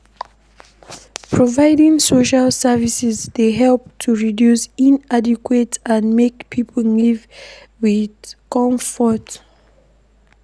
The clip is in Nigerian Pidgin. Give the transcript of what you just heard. Providing social services dey help to reduce inequality and make pipo live with comfort